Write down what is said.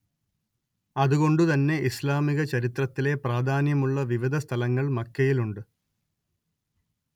അത് കൊണ്ട് തന്നെ ഇസ്‌ലാമിക ചരിത്രത്തിലെ പ്രാധാന്യമുള്ള വിവിധ സ്ഥലങ്ങൾ മക്കയിലുണ്ട്